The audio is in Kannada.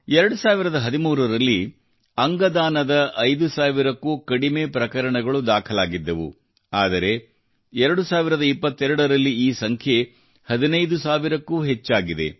2013 ರಲ್ಲಿ ಅಂಗ ದಾನದ 5000 ಕ್ಕೂ ಕಡಿಮೆ ಪ್ರಕರಣಗಳು ದಾಖಲಾಗಿದ್ದವು ಆದರೆ 2022 ರಲ್ಲಿ ಈ ಸಂಖ್ಯೆ 15 ಸಾವಿರಕ್ಕೂ ಹೆಚ್ಚಾಗಿದೆ